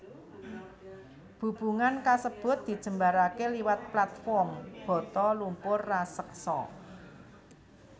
Bubungan kasebut dijembaraké liwat platform bata lumpur raseksa